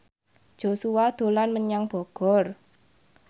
Joshua dolan menyang Bogor